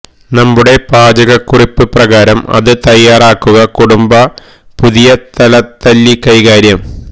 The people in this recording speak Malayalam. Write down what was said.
നമ്മുടെ പാചകക്കുറിപ്പ് പ്രകാരം അത് തയ്യാറാക്കുക കുടുംബ പുതിയ തലതല്ലി കൈകാര്യം